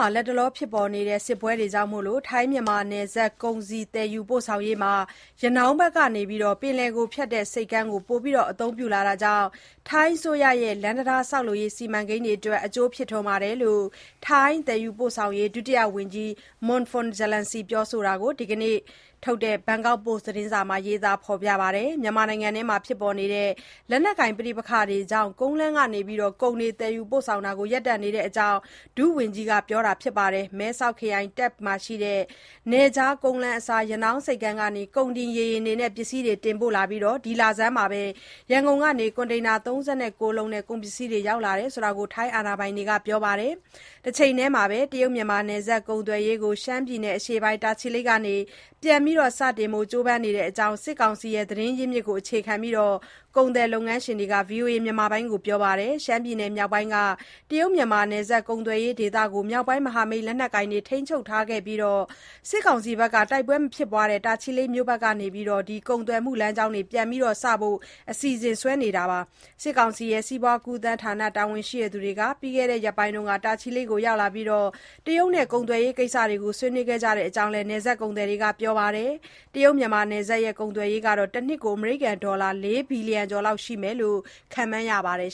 ှာ လတ်တလောဖြစ်ပေါ်နေတဲ့ စစ်ပွဲတွေကြောင့် ထိုင်း-မြန်မာ နယ်စပ် ကုန်စည် သယ်ယူပို့ဆောင်ရေးမှာ ရနောင်းဘက်ကနေ ပင်လယ်ကိုဖြတ်တဲ့ ဆိပ်ကမ်းကို ပိုပြီး အသုံးပြုလာတာကြောင့် ထိုင်းအစိုးရရဲ့ လမ်းတံတားဆောက်လုပ်ရေး စီမံချက်တွေအတွက် အကျိုးဖြစ်ထွန်းတဲ့အကြောင်း ထိုင်း သယ်ယူပို့ဆောင်ရေး ဒုတိယဝန်ကြီး Manaporn Charoensri ပြောဆိုတာကို ဒီနေ့ ထုတ် ဘန်ကောက်ပို့စ် သတင်းစာမှာ ရေးပါတယ်။ မြန်မာနိုင်ငံအတွင်း လက်နက်ကိုင် ပဋိပက္ခတွေကြောင့် ကုန်လမ်းကနေ ကုန်တွေ သယ်ယူပို့ဆောင်တာတွေ ရပ်တန့်နေတဲ့အကြောင်း ဒုဝန်ကြီး Manaporn က ပြောပါတယ်။ မဲဆောက်ခရိုင် Tak နယ်ခြား ကုန်းလမ်းအစား ရနောင်း ဆိပ်ကမ်းကနေ ကုန်တင် ရေယာဉ်တွေနဲ့ ပစ္စည်းတွေ တင်ပို့လာနေပြီး ဒီလဆန်းမှာပဲ ရန်ကုန်ကနေ ကွန်တိန်သာ ၃၉ လုံးနဲ့ ကုန်ပစ္စည်းတွေ ရောက်လာတဲ့အကြောင်း ထိုင်း တာဝန်ရှိသူတွေက ပြောပါတယ်။ တချိန်ထဲမှာဘဲ တရုတ်-မြန်မာနယ်စပ်ကုန်သွယ်ရေးကို ရှမ်းပြည့်နယ် အရှေ့ပိုင်း တာချီလိတ်မြို့ကနေ ပြန်စတင်ဖို့ ကြိုးပမ်းနေတဲ့အကြောင်း စစ်ကောင်စီရဲ့ သတင်းရင်းမြစ်ကို အခြေခံပြီး ကုန်သည်၊ လုပ်ငန်းရှင်တွေက VOA ကို ပြောပါတယ်။ ရှမ်းပြည်နယ်မြောက်ပိုင်းက တရုတ်-မြန်မာ နယ်စပ်ကုန်သွယ်ရေးဒေသကို မြောက်ပိုင်းမဟာမိတ် လက်နက်ကိုင်တွေ ထိန်းချုပ်အပြီး စစ်ကောင်စီဘက်က တိုက်ပွဲမဖြစ်ပွားတဲ့ တာချီလိတ်မြို့ဘက်ကနေ လမ်းကြောင်း ပြန်စဖို့ အစီအစဉ်ဆွဲလာကြတာပါ။ စစ်ကောင်စီရဲ့ စီးပွားကူးသန်းဌာန တာဝန်ရှိသူတွေဟာ ပြီးခဲ့တဲ့ရက်ပိုင်းက တာချီလိတ်မြို့ကို ရောက်လာပြီး တရုတ်နဲ့ ကုန်သွယ်ရေးကိစ္စကို ဆွေးနွေးခဲ့ကြတဲ့အကြောင်းလည်း နယ်စပ်ကုန်သည်တွေက ပြောပါတယ်။ တရုတ်မြန်မာနယ်စပ် ကုန်သွယ်ရေးဟာ တနှစ်ကို အမေရိကန်ဒေါ်လာ ၄ ဘီလီယံကျော်လောက် ရှိမယ်လို့ ခန့်မှန်းရပါတယ်